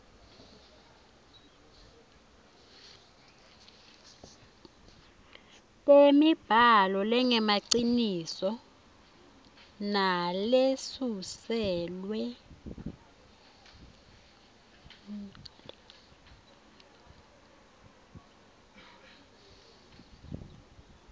temibhalo lengemaciniso nalesuselwe